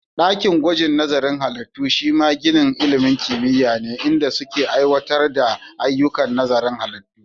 Ɗakin gwajin nazarin halittu shima ginin ilimin kimiyya ne, inda suke aiwatar da ayyukan nazarin halittu.